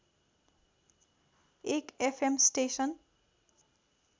एक FM station